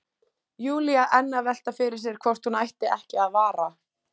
Júlía enn að velta fyrir sér hvort hún ætti ekki að vara